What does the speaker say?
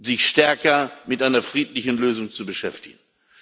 sich stärker mit einer friedlichen Lösung zu beschäftigen.